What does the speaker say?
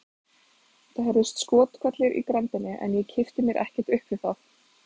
Það heyrðust skothvellir í grenndinni en ég kippti mér ekkert upp við það.